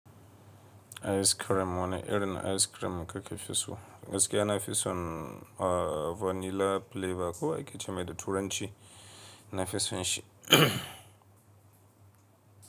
Ice cream wane irin ice cream kake fi so? Gaskiya na fi son vanilla flavor ko akece mai da turanci na fi son shi.